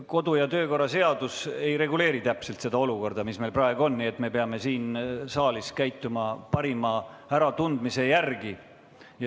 Kodu- ja töökorra seadus ei reguleeri täpselt seda olukorda, mis meil praegu on, nii et me peame siin saalis käituma parima äratundmise järgi.